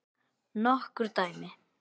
Nokkur dæmi